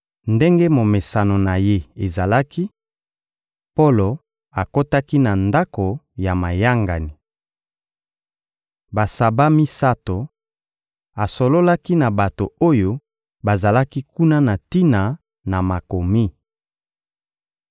Ndenge momesano na ye ezalaki, Polo akotaki na ndako ya mayangani. Basaba misato, asololaki na bato oyo bazalaki kuna na tina na Makomi.